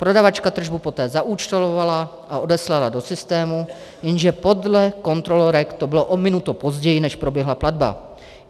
Prodavačka tržbu poté zaúčtovala a odeslala do systému, jenže podle kontrolorek to bylo o minutu později, než proběhla platba.